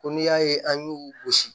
Ko n'i y'a ye an y'u gosi